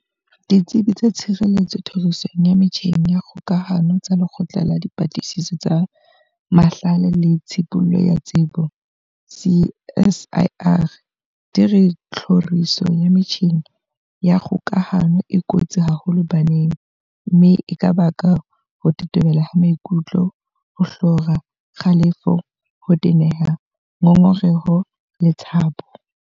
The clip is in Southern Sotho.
Ditsebi tsa tshireletso tlhorisong ya metjheng ya kgokahano tsa Lekgotla la Dipatlisiso tsa Mahlale le Tshibollo ya Tsebo, CSIR, di re tlhoriso ya metjheng ya kgokahano e kotsi haholo baneng mme e ka baka ho tetebela maikutlo, ho hlora, kgalefo, ho teneha, ngongereho le tshabo.